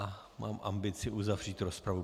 A mám ambici uzavřít rozpravu.